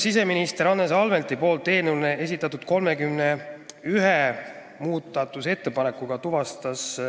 Siseminister Andres Anvelt esitas eelnõu kohta 31 muudatusettepanekut.